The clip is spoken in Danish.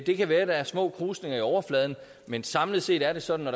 det kan være at der er små krusninger i overfladen men samlet set er det sådan at